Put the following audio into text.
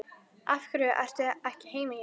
Af hverju ertu ekki heima hjá þér?